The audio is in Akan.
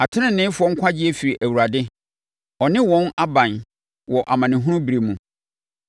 Ateneneefoɔ nkwagyeɛ firi Awurade ɔne wɔn aban wɔ amanehunu berɛ mu.